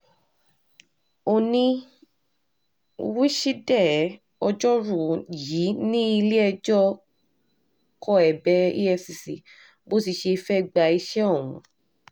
òní wíṣídẹ̀ẹ́ ọjọ́rùú yìí ní ilé-ẹjọ́ kọ ẹ̀bẹ̀ efcc bó ti ṣe fẹ́ẹ́ gbaṣẹ́ ọ̀hún